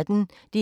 DR P1